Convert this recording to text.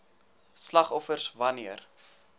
slagoffers wan neer